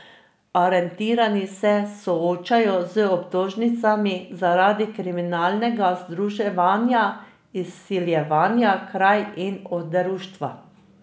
Aretirani se soočajo z obtožnicami zaradi kriminalnega združevanja, izsiljevanja, kraj in oderuštva.